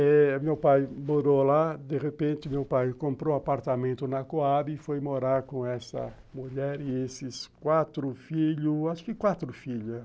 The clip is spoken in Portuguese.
Aí meu pai morou lá, de repente meu pai comprou apartamento na Coab e foi morar com essa mulher e esses quatro filhos, acho que quatro filhas.